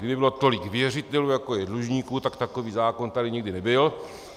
Kdyby bylo tolik věřitelů, jako je dlužníků, tak takový zákon tady nikdy nebyl.